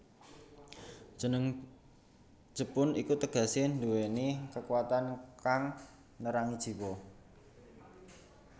Jeneng jepun iki tegesé nduwèni kekuwatan kang nerangi jiwa